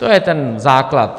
To je ten základ.